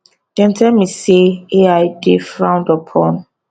dem tell me say ai dey frowned upon